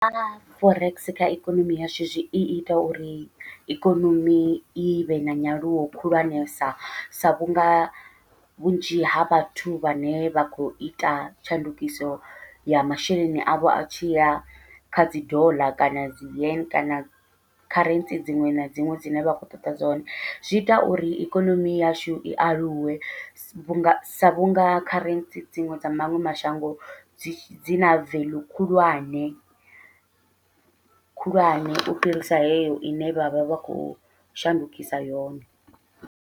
Nga forex kha ikonomi yashu zwi iita uri ikonomi ivhe na nyaluwo khulwanesa, sa vhunga vhunzhi ha vhathu vhane vha khou ita tshandukiso ya masheleni avho a tshi ya kha dzi doḽa kana dzi yan kana kharentsi dziṅwe na dziṅwe dzine vha kho ṱoḓa dzone, zwi ita uri ikonomi yashu i aluwe vhunga sa vhunga kharentsi dziṅwe dza maṅwe mashango dzi na veḽu khulwane khulwane, u fhirisa heyo ine vha vha vha khou shandukisa yone.